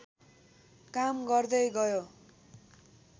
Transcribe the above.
काम गर्दै गयो